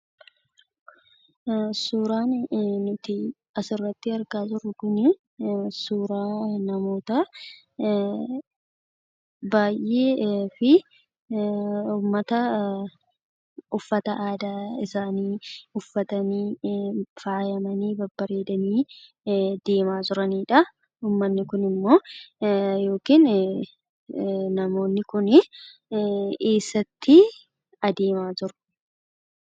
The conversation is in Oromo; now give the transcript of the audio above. Suuraan kanaan gaditti argamu kun suuraa namoota baayyee uffata aadaa uffatanii faayyamanii deemaa kan jiranii dha. Namoonni Kun immoo eessatti deemaa jiru?